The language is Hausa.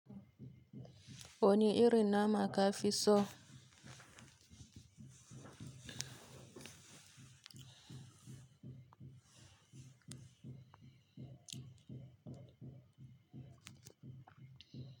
Wani irin nama kafiso.